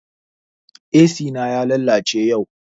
Ac na ya lalace yau